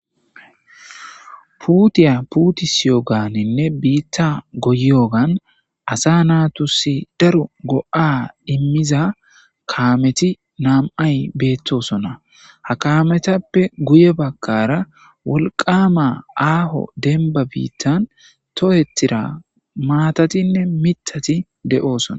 puutiya puutisiyoganinne biitta goyiyogan asa naatusi daro go7a immiza kaameti naam7ay beettosona ha kaametappe guye bagkara wolqama aaho denba biittan tohetira maatatinne mitati de7oosona